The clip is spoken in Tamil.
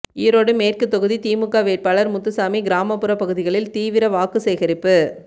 ஈரோடு மேற்கு தொகுதி திமுக வேட்பாளர் முத்துசாமி கிராமப்புற பகுதிகளில் தீவிர வாக்குசேகரிப்பு